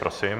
Prosím.